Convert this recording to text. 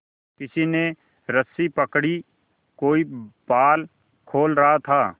किसी ने रस्सी पकड़ी कोई पाल खोल रहा था